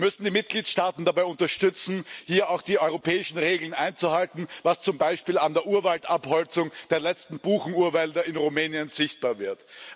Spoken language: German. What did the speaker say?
Wir müssen die Mitgliedstaaten dabei unterstützen, hier auch die europäischen Regeln einzuhalten, was zum Beispiel an der Abholzung der letzten Buchenurwälder in Rumänien sichtbar wird.